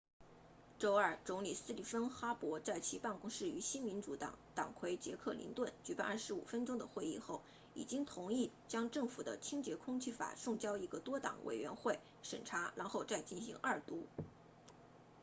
周二总理斯蒂芬哈珀 stephen harper 在其办公室与新民主党党魁杰克林顿 jack layton 举行25分钟的会议后已经同意将政府的清洁空气法送交一个多党委员会审查然后再进行二读